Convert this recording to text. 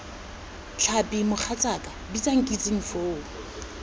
tlhapi mogatsaaka bitsa nkitsing foo